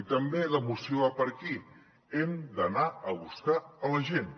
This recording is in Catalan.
i també la moció va per aquí hem d’anar a buscar la gent